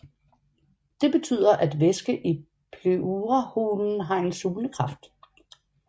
Det betyder at væske i pleurahulen har en sugende kraft